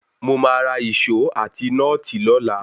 Mo máa ra Ìṣó àti nọ́ọ̀tì lọ́la.